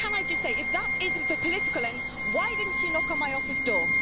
And, can I just say, if that is not for political ends, why didn't she knock on my office door?